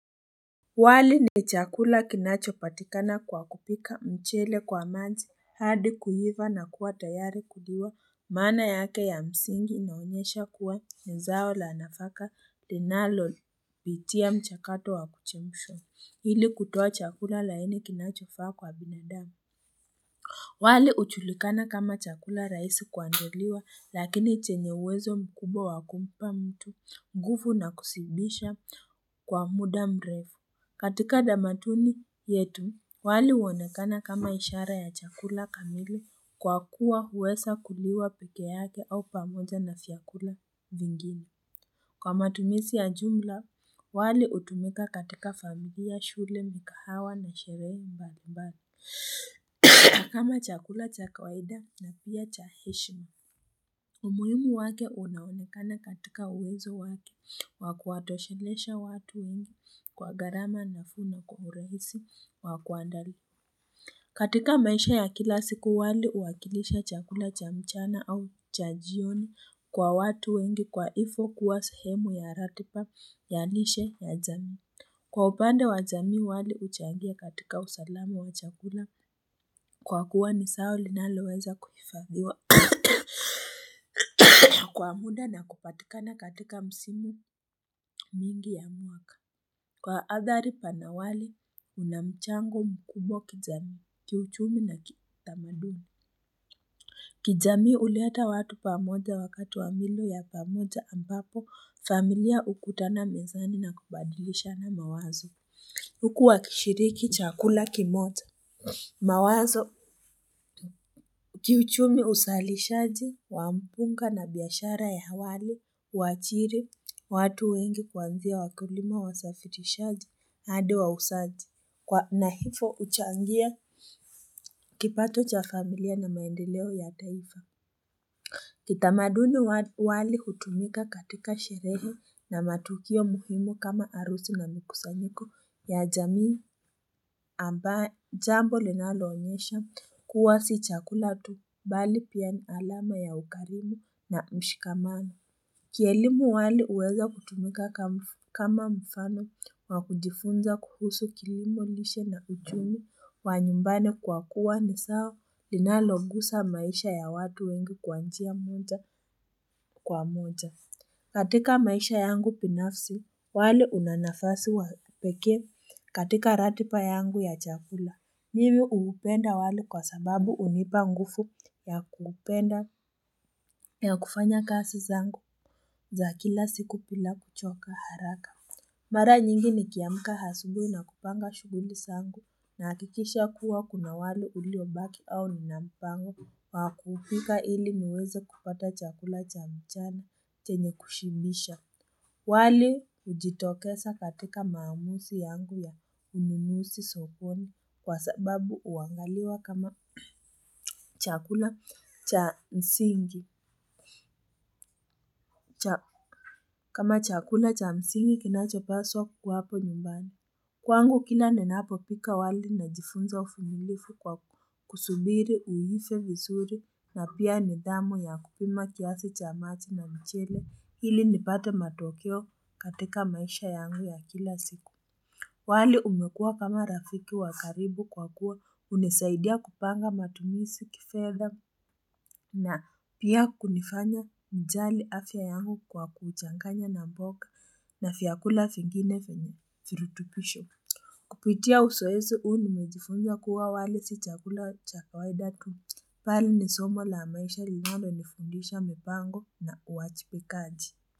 Wali ni chakula kinachopatikana kwa kupika mchele kwa maji hadi kuiva na kuwa tayari kuliwa maana yake ya msingi inaonyesha kuwa ni zao la nafaka denalo pitia mchakato wa kuchemshwa hili kutoa chakula laini kinachofaa kwa binadamu wali hujulikana kama chakula raisi kuandaliwa lakini chenye uwezo mkubwa wa kumpa mtu nguvu na kusiibisha kwa muda mrefu katika tamaduni yetu, wali uonekana kama ishara ya chakula kamili kwa kuwa huwesa kuliwa peke yake au pamoja na vyakula vingine. Kwa matumizi ya jumla, wali utumika katika familia, shule, mikahawa na sherehe mbali mbali, kama chakula cha kawaida na pia cha heshima. Umuhimu wake unaunekana katika uwezo wake wakua toshelesha watu wengi kwa gharama nafuu na kwa urahisi wa kuandali. Katika maisha ya kila siku wali uwakilisha chakula cha mchana au cha jioni kwa watu wengi kwa ivo kuwa sehemu ya ratiba ya nishe ya jami. Kwa upande wa jami wali uchangia katika usalama wa chakula, kwa kuwa ni zao linaloweza kuhifadhiwa kwa muda na kupatikana katika msimu mingi ya mwaka. Kwa athari panawali, unamchango mkumo kijami, kiuchumi na kitamadumi. Kijami uleta watu pamoja wakati wa milo ya pamoja ambapo familia ukutana mezani na kubadilisha na mawazo. Huku wakishiriki chakula kimoja, mawazo kiuchumi usalishaji, wa mpunga na biashara ya wali, uachiri, watu wengi kuanzia wakulima wasafirishaji, hadi wausaji, na hivo uchangia kipato cha familia na maendeleo ya taifa. Kitamaduni wali hutumika katika sherehe na matukio muhimu kama arusi na mikusanyiko ya jamii amba jambo linaloonyesha kuwa si chakula tu bali pia ni alama ya ukarimu na mshikamano. Kielimu wali uweza kutumika kama mfano wa kujifunza kuhusu kilimo lishe na uchumi wa nyumbani kwa kuwa ni zao linalogusa maisha ya watu wengi kwa njia moja kwa moja. Katika maisha yangu binafsi, wali una nafasi wa pekee katika ratipa yangu ya chakula. Mimi hupenda wali kwa sababu unipa nguvu ya kupenda ya kufanya kasi zangu za kila siku pila kuchoka haraka. Mara nyingi nikiamka asubui na kupanga shuguli zangu nahakikisha kuwa kuna wali uliobaki au nina mpango wa kupika ili niweze kupata chakula cha mchana chenye kushimisha. Wali ujitokesa katika maamusi yangu ya uninusi sokoni kwa sababu uangaliwa kama chakula cha msingi kinachopaswa kuwapo nyumbani. Kwangu kila ninapopika wali najifunza uvumilifu kwa kusubiri uive vizuri na pia nidamu ya kupima kiasi cha maji na mchele hili nipate matokeo katika maisha yangu ya kila siku. Wali umekua kama rafiki wa karibu kwa kuwa unesaidia kupanga matumisi kifedha na pia kunifanya mjali afya yangu kwa kuchanganya na mboka na vyakula vingine venye virutukisho. Kupitia usoezi huu nimejifunwa kuwa wali si chakula cha kawaida tu bali ni somo la maisha linalo nifundisha mpango na uwachi pe kaji.